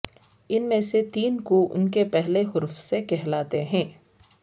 ان میں سے تین کو ان کے پہلے حرف سے کہلاتے ہیں